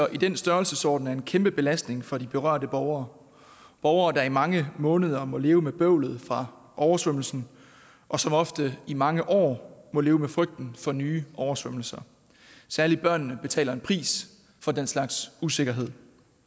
i den størrelsesorden er en kæmpe belastning for de berørte borgere borgere der i mange måneder må leve med bøvlet fra oversvømmelsen og som ofte i mange år må leve med frygten for nye oversvømmelser særlig børnene betaler en pris for den slags usikkerhed